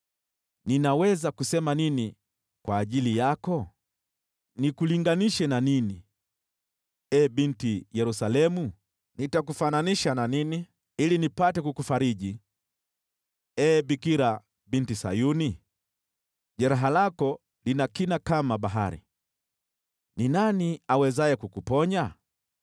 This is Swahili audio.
Ninaweza kusema nini kwa ajili yako? Nikulinganishe na nini, ee Binti Yerusalemu? Nitakufananisha na nini, ili nipate kukufariji, ee Bikira Binti Sayuni? Jeraha lako lina kina kama bahari. Ni nani awezaye kukuponya?